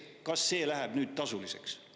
Kas see läheb nüüd tasuliseks?